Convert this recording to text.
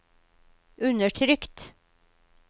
undertrykt